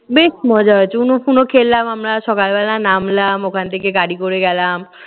বেশ মজা হয়েছে উনু ফুনু খেললাম আমরা। সকালবেলা নামলাম, ওখান থেকে গাড়ি করে গেলাম।